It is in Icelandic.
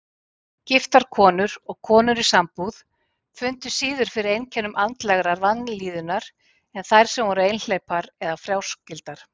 Giftar konur og konur í sambúð fundu síður fyrir einkennum andlegrar vanlíðunar en þær sem voru einhleypar eða fráskildar.